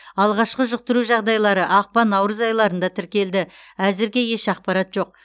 алғашқы жұқтыру жағдайлары ақпан наурыз айларында тіркелді әзірге еш ақпарат жоқ